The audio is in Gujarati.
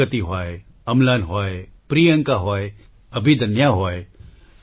પ્રગતિ હોય અમ્લાન હોય પ્રિયંકા હોય અભિદન્યા હોય